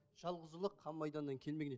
жалғыз ұлы қан майданнан келмеген